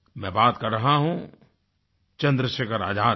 मैं बात कर रहा हूँ चंद्रशेखर आज़ाद की